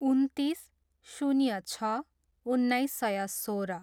उन्तिस, शून्य छ, उन्नाइस सय सोह्र